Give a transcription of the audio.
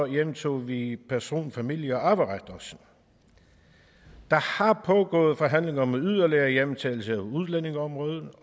hjemtog vi også person familie og arveret der har pågået forhandlinger om yderligere hjemtagelser af udlændingeområdet